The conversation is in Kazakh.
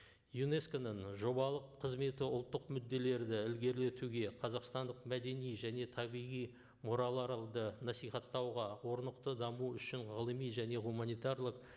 юнеско ның жобалық қызметі ұлттық мүдделерді ілгерлетуге қазақстандық мәдени және табиғи насихаттауға орнықты даму үшін ғылыми және гуманитарлық